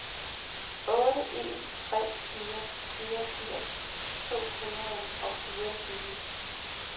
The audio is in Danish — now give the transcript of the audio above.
otte en tre fire fireogfirs to hundrede og fireogtyve